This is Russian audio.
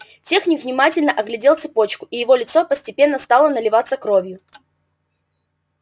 техник внимательно оглядел цепочку и его лицо постепенно стало наливаться кровью